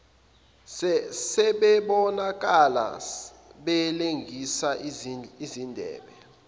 sebebonakala belengise izindebe